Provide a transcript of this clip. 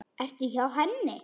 Ertu hjá henni?